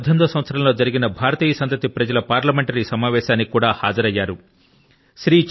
2018 వ సంవత్సరం లో జరిగిన person of Indian origin PIO parliamentary సమావేశాని కి కూడా హాజరయ్యారు